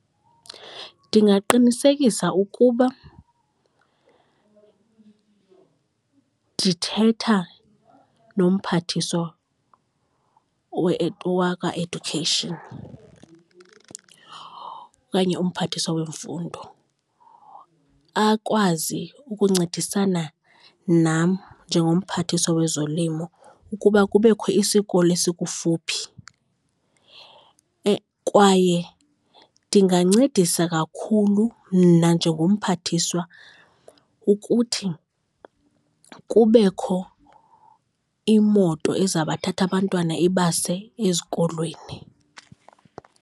Ndingaqinisekisa ukuba ndithetha noMphathiswa wakwa-Education okanye uMphathiswa weMfundo, akwazi ukuncedisana nam njengoMphathiswa wezoLimo, ukuba kubekho isikolo esikufuphi. Kwaye ndingancedisa kakhulu mna njengoMphathiswa ukuthi kubekho imoto ezabathatha abantwana ibase ezikolweni.